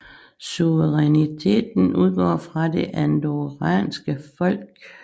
Suveræniteten udgår fra det andorranske folk